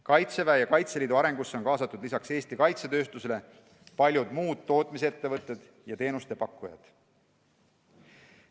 Kaitseväe ja Kaitseliidu arengusse on kaasatud lisaks Eesti kaitsetööstusele paljud muud tootmisettevõtted ja teenuste pakkujad.